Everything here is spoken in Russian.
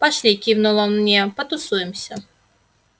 пошли кивнул он мне потусуемся